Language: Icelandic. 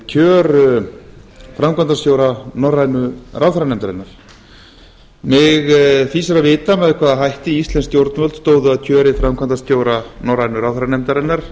kjör framkvæmdastjóra norrænu ráðherranefndarinnar mig fýsir að vita með hvaða hætti íslensk stjórnvöld stóðu að kjöri framkvæmdastjóra norrænu ráðherranefndarinnar